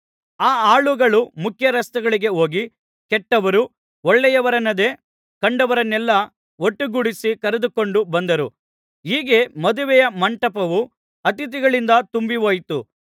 ಆ ಆಳುಗಳು ಮುಖ್ಯರಸ್ತೆಗಳಿಗೆ ಹೋಗಿ ಕೆಟ್ಟವರು ಒಳ್ಳೆಯವರೆನ್ನದೇ ಕಂಡವರನ್ನೆಲ್ಲಾ ಒಟ್ಟುಗೂಡಿಸಿ ಕರೆದುಕೊಂಡು ಬಂದರು ಹೀಗೆ ಮದುವೆಯ ಮಂಟಪವು ಅತಿಥಿಗಳಿಂದ ತುಂಬಿಹೋಯಿತು